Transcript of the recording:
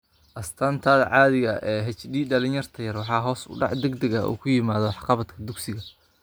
Astaanta caadiga ah ee HD dhallinta yar waa hoos u dhac degdeg ah oo ku yimid waxqabadka dugsiga.